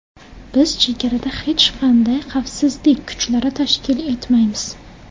Biz chegarada hech qanday xavfsizlik kuchlari tashkil etmaymiz”.